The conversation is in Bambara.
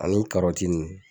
Ani